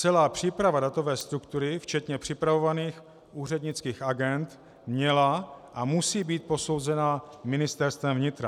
Celá příprava datové struktury včetně připravovaných úřednických agend měla a musí být posouzena Ministerstvem vnitra.